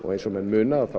eins og menn muna